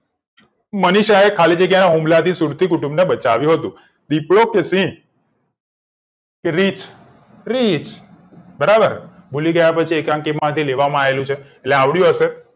મનીષાએ ખાલી જગ્યા ના હુમલાથી સુરતી કુટુંબને બચાવ્યું હતું વીપો તુસી રીચ ક્રીચ બરાબર ભૂલી ગયા પછી એકાંકી માંથી લેવામાં આવેલું છે એટલે આવડ્યું હશે